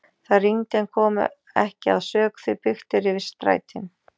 Það rigndi en kom ekki að sök því byggt er yfir strætin.